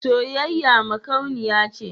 Soyayya makauniya ce.